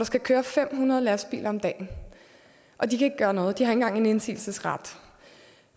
skal køre fem hundrede lastbiler om dagen og de kan ikke gøre noget de har ikke engang en indsigelsesret